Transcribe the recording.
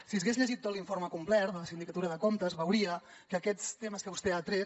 si s’hagués llegit tot l’informe complet de la sindicatura de comptes veuria que aquests temes que vostè ha tret